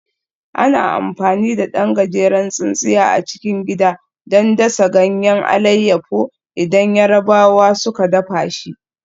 Ana amfani da ɗan gajeren tsintsiya a cikin gida don dasa ganyen alayyafo idan Yarabawa suka dafa shi